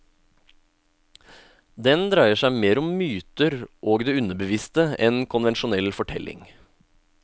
Den dreier seg mer om myter og det underbevisste enn konvensjonell fortelling.